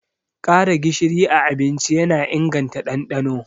Ƙara gishiri a abinci yana inganta ɗanɗano.